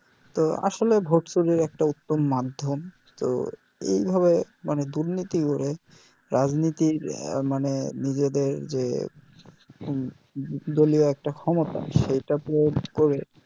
তো আসলে ভোট চুরির একটা উত্তম মাধ্যম তো এইভাবে দুর্নীতি করে রাজনীতির মানে নিজেদের যে দলিও একটা ক্ষমতা সেইটাতে করে